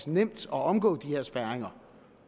nemt at omgå de her spærringer